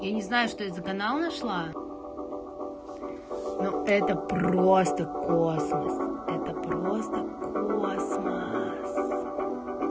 я не знаю что это за канал нашла но это просто космос это просто космос